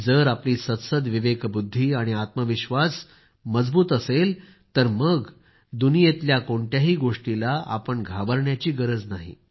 जर आपली सद्सद्विवेकबुद्धी आणि आत्मविश्वास मजबूत असेल तर मग तुम्हाला दुनियेतल्या कोणत्याही गोष्टीला घाबरण्याची गरज नाही